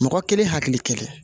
Mɔgɔ kelen hakili kelen